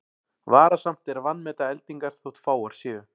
Varasamt er að vanmeta eldingar þótt fáar séu.